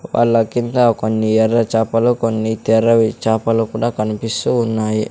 వాళ్ల కింద కొన్ని ఎర్ర చాపలు కొన్ని తెర్రవి చాపలు కూడా కనిపిస్తూ ఉన్నాయి.